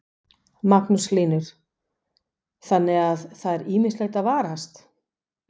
Magnús Hlynur: Þannig að það er ýmislegt að varast?